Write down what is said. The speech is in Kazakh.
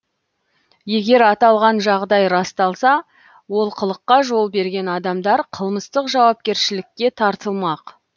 егер аталған жағдай расталса олқылыққа жол берген адамдар қылмыстық жауапкершілікке тартылмақ